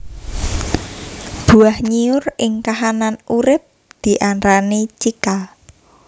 Buah nyiur ing kahanan urip diarani cikal